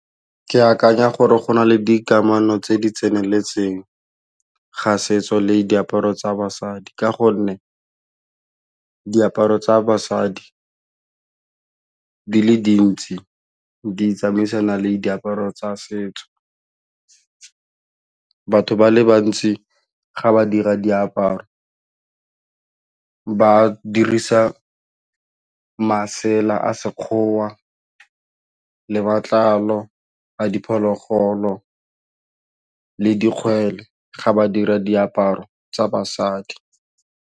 Ke akanya gore go na le dikamano tse di tseneletseng ga setso le diaparo tsa basadi ka gonne diaparo tsa basadi di le dintsi di tsamaisana le diaparo tsa setso, batho ba le bantsi ga ba dira diaparo ba dirisa masela a sekgowa, le matlalo a diphologolo le dikgwele ga ba dira diaparo tsa basadi.